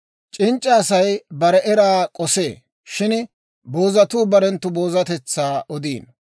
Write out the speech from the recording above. C'inc'c'a Asay bare eraa k'osee; shin boozatuu barenttu boozatetsaa odiino.